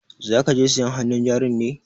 Za ka je sayan hannun jarin ne?